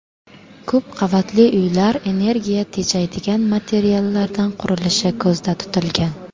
Ko‘p qavatli uylar energiya tejaydigan materiallardan qurilishi ko‘zda tutilgan.